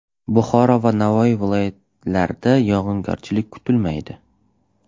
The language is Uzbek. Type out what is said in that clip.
Buxoro va Navoiy viloyatlarida yog‘ingarchilik kutilmaydi.